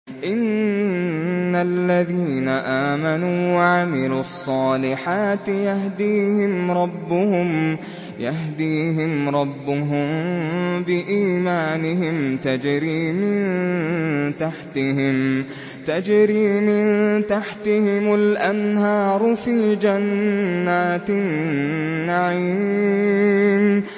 إِنَّ الَّذِينَ آمَنُوا وَعَمِلُوا الصَّالِحَاتِ يَهْدِيهِمْ رَبُّهُم بِإِيمَانِهِمْ ۖ تَجْرِي مِن تَحْتِهِمُ الْأَنْهَارُ فِي جَنَّاتِ النَّعِيمِ